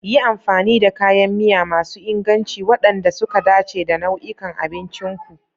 Yi amfani da kayan miya masu inganci waɗanda suka dace da nau'in abncin ku.